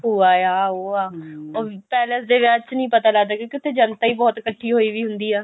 ਭੂਆ ਹੈ ਆਹ ਉਹ ਹੈ ਪੈਲੇਸ ਦੇ ਵਿਆਹ ਚ ਨਹੀਂ ਪਤਾ ਲੱਗਦਾ ਕਿਉਂਕਿ ਉੱਥੇ ਜੰਤਾ ਹੀ ਬਹੁਤ ਇੱਕਠੀ ਹੋਈ ਹੁੰਦੀ ਹੈ